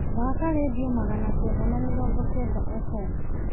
thaaka rĩndiũ magana kenda na mirongo kenda f.m.